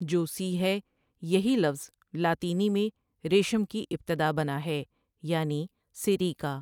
جو ٬سی ٬ ہے یہی لفظ لاطینی میں ریشم کی ابتدا بنا ہے، یعنی سیریکا۔